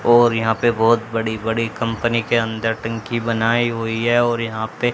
और यहां पे बहोत बड़ी बड़ी कंपनी के अंदर टंकी बनाई हुई है और यहां पे--